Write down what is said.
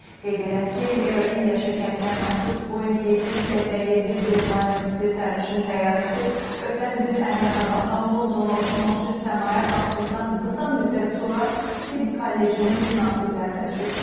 Qeyd edək ki, Air India şirkətinə məxsus Boeing 787 Dreamliner tipli sərnişin təyyarəsi ötən gün Əhmədabaddan Londona uçmaq üçün səmaya qalxdıqdan qısa müddət sonra tibb kollecinin binası üzərinə düşüb.